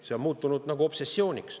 See on muutunud nagu obsessiooniks.